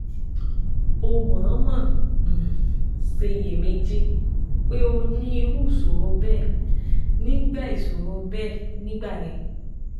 O mọ̀ọ́mọ̀ um ṣiyèméjì pé o ní irú ìṣòro bẹ́ẹ̀ nígbà ìṣòro bẹ́ẹ̀ nígbà yẹn